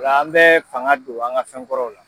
O la an bɛ fanga don an ka fɛn kɔrɔw la.